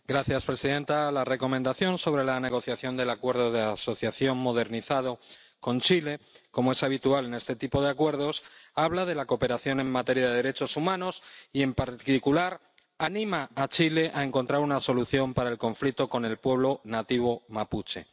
Señora presidenta, la Recomendación sobre la negociación del Acuerdo de Asociación modernizado con Chile, como es habitual en este tipo de acuerdos, habla de la cooperación en materia de derechos humanos y, en particular, anima a Chile a encontrar una solución al conflicto con el pueblo nativo mapuche.